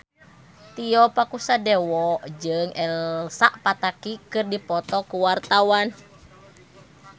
Tio Pakusadewo jeung Elsa Pataky keur dipoto ku wartawan